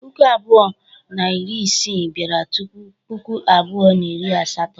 Puku abụọ na iri isii bịara tupu Puku abụọ na iri asato.